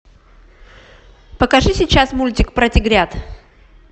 покажи сейчас мультик про тигрят